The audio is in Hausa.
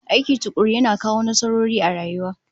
Aiki tukuru yana kawo nasarori a rayuwa